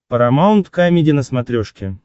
парамаунт камеди на смотрешке